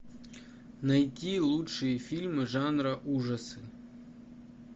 найти лучшие фильмы жанра ужасы